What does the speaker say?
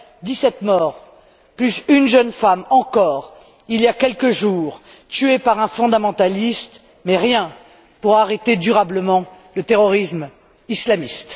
Dix sept morts plus une jeune femme, encore, il y a quelques jours, tuée par un fondamentaliste, mais rien pour arrêter durablement le terrorisme islamiste.